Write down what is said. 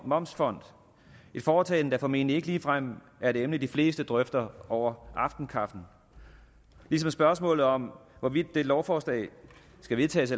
momsfond et foretagende der formentlig ikke ligefrem er et emne de fleste drøfter over aftenkaffen ligesom spørgsmålet om hvorvidt dette lovforslag skal vedtages